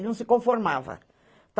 Ele não se conformava.